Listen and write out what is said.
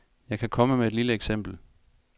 Jeg kan komme med et lille eksempel.